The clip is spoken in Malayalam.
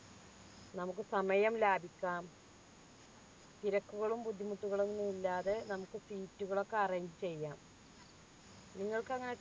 നമുക്ക് സമയം ലാഭിക്കാം തിരക്കുകളും ബുദ്ധിമുട്ടുകളും ഒന്നും ഇല്ലാതെ നമുക്ക് seat കൾ ഒക്കെ arrange ചെയ്യാം നിങ്ങൾക്ക് എങ്ങനെ train